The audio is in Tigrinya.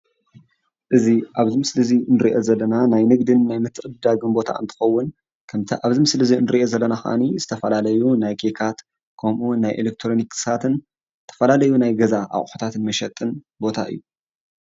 እዚ ኣብዚ ምስሊ እዚ እንርእዮ ዘለና ናይ ንግድን ምትዕድዳግ ቦታ እንትከዉን ከምቲ ኣብዚ ምስሊ እዚ እንርእዮ ዘለና ካኣኒ ዝተፋላለዩ ናይ ኬካት ከምኡ እዉን ናይ ኤሌትሮኒክስ ዝተፈላለዩ ናይ ገዛ ኣቁሑትን መሸጢን ቦታ እዩ::